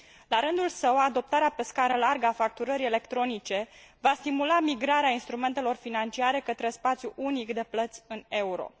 La rândul său, adoptarea pe scară largă a facturării electronice va stimula migrarea instrumentelor financiare către spațiul unic de plăți în euro.